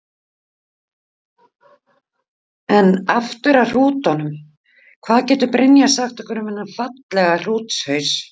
En aftur af hrútunum, hvað getur Brynja sagt okkur um þennan fallega hrútshaus?